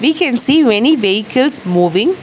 We can see many vehicles moving.